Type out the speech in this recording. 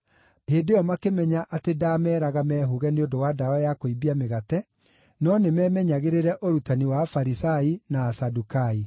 Hĩndĩ ĩyo makĩmenya atĩ ndaameeraga mehũũge nĩ ũndũ wa ndawa ya kũimbia mĩgate, no nĩ memenyagĩrĩre ũrutani wa Afarisai na Asadukai.